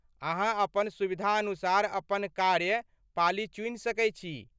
अहाँ अपन सुविधानुसार अपन कार्य पाली चुनि सकै छी।